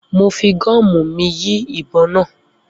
Mo fi gomu mi yin ibon naa